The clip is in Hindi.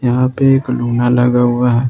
यहां पे एक लुना लगा हुआ है।